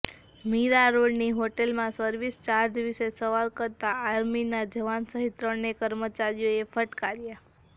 મીરા રોડની હોટેલમાં service charge વિશે સવાલ કરતાં આર્મીના જવાન સહિત ત્રણને કર્મચારીઓએ ફટકાર્યા